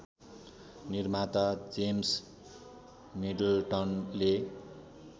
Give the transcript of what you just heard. निर्माता जेम्स मिडलटनले